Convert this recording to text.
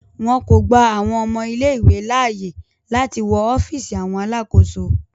Wọn ko gba awọn ọmọ ìlé-ìwé laaye lati wọ ọfiisi awọn alakoso.